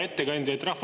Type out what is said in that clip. Hea ettekandja!